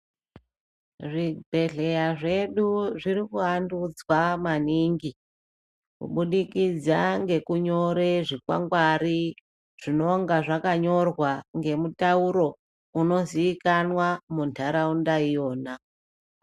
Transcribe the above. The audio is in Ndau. Zvibhedleya zvedu ,zvirikuvandudzwa maningi kubudikidza ngekunyora zvikwangwari zvinonga zvakanyorwa ngemutaurounoziikanwa muntaraunda iyona.